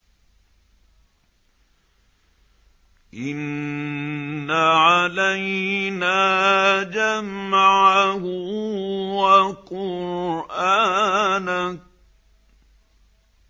إِنَّ عَلَيْنَا جَمْعَهُ وَقُرْآنَهُ